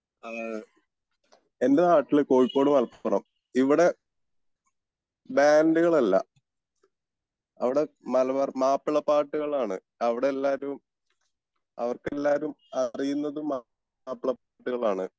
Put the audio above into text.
അഹമ് എൻ്റെ നാട്ടിൽ കോഴിക്കോട് മലപ്പുറം ഇവിടെ ബാൻഡുകൾ അല്ല അവിടെ മലബാർ മാപ്പിള പാട്ടുകൾ ആണ് അവിടെ എല്ലാരും അവർക്ക് എല്ലാരും അറിയുന്നതും മാപ്പിള പാട്ടുകൾ ആണ്